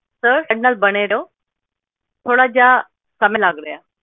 sir ਸਾਡੇ ਨਾਲ ਬਣੇ ਰਹੋ ਥੋੜਾ ਜੇਹਾ ਸਮਾਂ ਲੱਗ ਰਿਹਾ